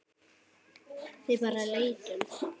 Við bara leitum.